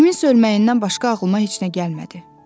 Kiminsə ölməyindən başqa ağlıma heç nə gəlmədi.